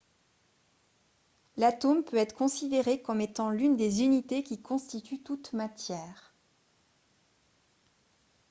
l'atome peut être considéré comme étant l'une des unités qui constitue toute matière